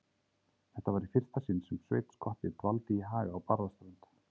Þetta var í fyrsta sinn sem Sveinn skotti dvaldi í Haga á Barðaströnd.